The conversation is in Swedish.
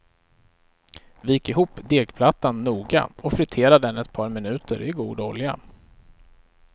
Vik ihop degplattan noga och fritera den ett par minuter i god olja.